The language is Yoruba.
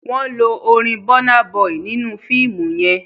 Wón ló orin Burna boy nínú fiimu yén.